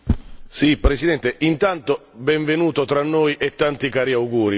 Signor Presidente, anzitutto benvenuto tra noi e tanti cari auguri.